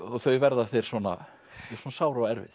þau verða þér svo sár og erfið